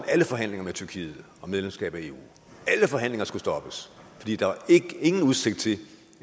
alle forhandlinger med tyrkiet om medlemskab af eu alle forhandlinger skulle stoppes fordi der ikke var udsigt til